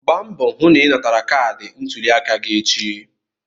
Gba mbọ hụ na ị natara kaadị ntuliaka gị echi!